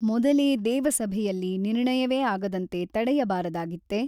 ಮೊದಲೇ ದೇವಸಭೆಯಲ್ಲಿ ನಿರ್ಣಯವೇ ಆಗದಂತೆ ತಡೆಯಬಾರದಾಗಿತ್ತೆ?